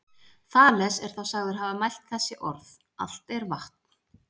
Þales er þá sagður hafa mælt þessi orð: Allt er vatn.